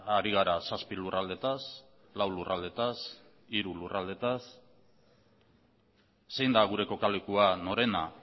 ari gara zazpi lurraldeetaz lau lurraldeetaz hiru lurraldeetaz zein da gure kokalekua norena